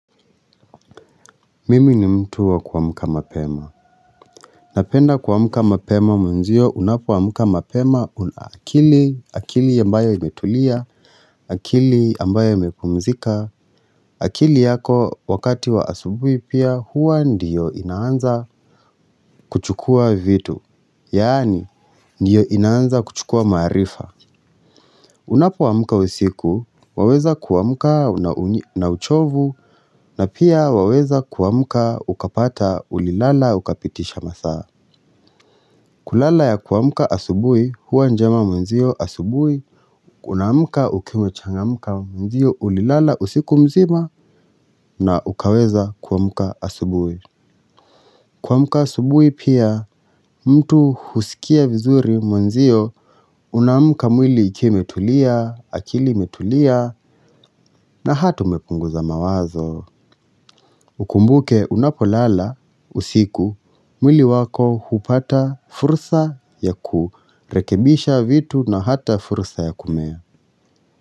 Mimi ni mtu wa kuamka mapema. Napenda kuamka mapema mwenzio unapoamka mapema una akili, akili ambayo imetulia, akili ambayo imepumzika, akili yako wakati wa asubui pia hua ndiyo inaanza kuchukua vitu. Yaani, ndiyo inaanza kuchukua maarifa. Unapoamka usiku, waweza kuamka na uchovu, na pia waweza kuamka ukapata ulilala ukapitisha masaa. Kulala ya kuamka asubui huwa njema mwenzio asubui, unaamka ukiwa umechangamka mwenzio ulilala usiku mzima na ukaweza kuamka asubui. Kwamka asubuhi pia mtu husikia vizuri mwenzio Unaamka mwili ikiwa imetulia, akili imetulia na hata umepunguza mawazo Ukumbuke unapolala usiku mwili wako hupata fursa ya kurekebisha vitu na hata fursa ya kumea.